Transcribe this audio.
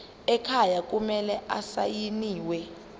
ekhaya kumele asayiniwe